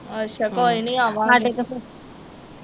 ਅੱਛਾ ਕੋਈ ਨਹੀਂ ਆਵਾਂਗੇ